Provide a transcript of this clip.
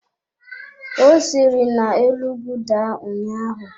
Ọ siri na-elu ugwu daa ụnyaahụ.